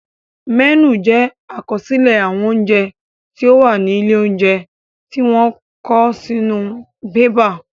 Mẹ́nù jẹ àkọsílẹ̀ àwọn oúnjẹ tí ó wà ní ilé óúnjẹ tí wọ́n kọ sí inú bébà